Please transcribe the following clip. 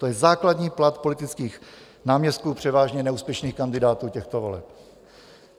To je základní plat politických náměstků, převážně neúspěšných kandidátů těchto voleb.